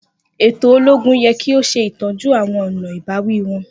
Eto ologun yẹ ki o ṣetọju awọn ọna ibawi wọn.